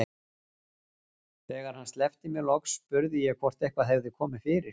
Þegar hann sleppti mér loks spurði ég hvort eitthvað hefði komið fyrir.